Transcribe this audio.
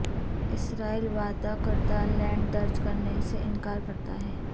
اسرائیل وعدہ کردہ لینڈ درج کرنے سے انکار کرتا ہے